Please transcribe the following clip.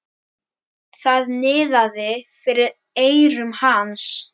Það niðaði fyrir eyrum hans.